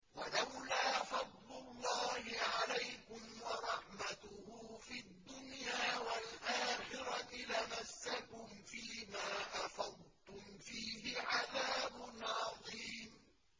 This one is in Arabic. وَلَوْلَا فَضْلُ اللَّهِ عَلَيْكُمْ وَرَحْمَتُهُ فِي الدُّنْيَا وَالْآخِرَةِ لَمَسَّكُمْ فِي مَا أَفَضْتُمْ فِيهِ عَذَابٌ عَظِيمٌ